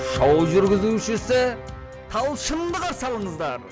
шоу жүргізушісі талшынды қарсы алыңыздар